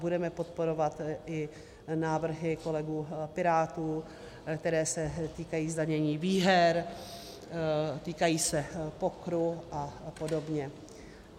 Budeme podporovat i návrhy kolegů Pirátů, které se týkají zdanění výher, týkají se pokeru a podobně.